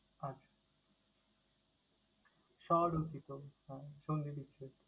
আচ্ছা! স্ব- রচিত আহ সন্ধিবিচ্ছেদ।